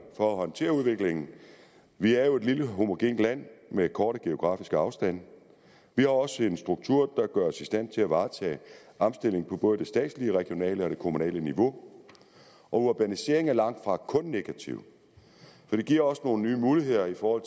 for at håndtere udviklingen vi er jo et lille homogent land med korte geografiske afstande vi har også en struktur der gør os i stand til at varetage omstillingen på både det statslige regionale og kommunale niveau og urbaniseringen er langtfra kun negativ for det giver os nogle nye muligheder for